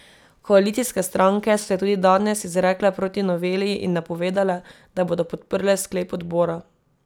Koalicijske stranke so se tudi danes izrekle proti noveli in napovedale, da bodo podprle sklep odbora.